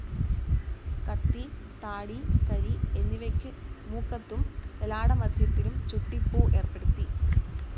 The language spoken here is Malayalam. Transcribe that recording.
കത്തി, താടി, കരി എന്നിവയ്ക്ക് മൂക്കത്തും ലലാടമധ്യത്തിലും ചുട്ടിപ്പൂ ഏർപ്പെടുത്തി.